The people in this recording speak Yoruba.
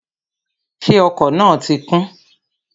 Ṣé ọkọ̀ náà ti kún?